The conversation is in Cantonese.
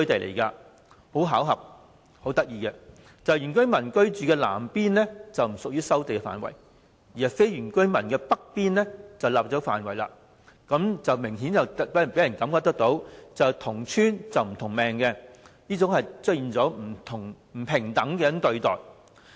事有湊巧，原居民居住的南部不屬於收地範圍，而非原居民居住的北部則納入範圍，明顯予人"同村不同命"的感覺，出現了不平等對待。